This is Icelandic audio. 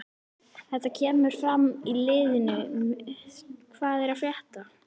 Þetta kemur fram í liðnum hvað er að frétta?